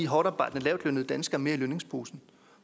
hårdtarbejdende lavtlønnede danskere mere i lønningsposen